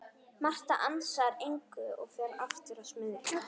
Marta ansar engu og fer aftur að smyrja.